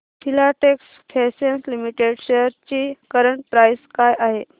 Filatex fashions limited shares ची current price काय आहे